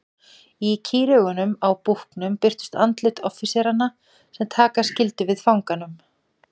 Í kýraugunum á búknum birtust andlit offíseranna sem taka skyldu við fanganum.